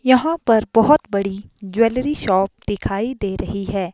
यहाँ पर बहुत बड़ी ज्वेलरी शॉप दिखाई दे रही है।